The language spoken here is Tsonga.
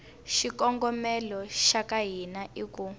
xikongomelo xa hina i ku